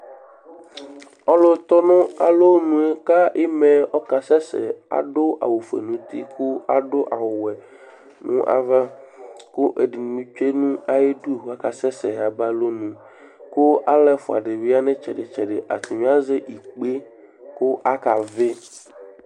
Ɔlu tɔ ŋu alɔŋu kʋ ima'ɛ ɔkasɛsɛ Aɖu awu fʋe ŋu ʋti kʋ aɖu awu wɛ ŋu ava kʋ ɛɖìní tsʋe ŋu ayʋ iɖu kʋ akasɛsɛ yaba alɔŋu kʋ alu ɛfʋa ɖìbí ya ŋu itsɛɖi tsɛɖi ataŋi azɛ ikpe kʋ akavi